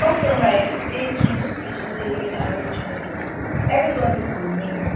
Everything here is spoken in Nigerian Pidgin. compromise dey key to peaceful living arrangements everybody go win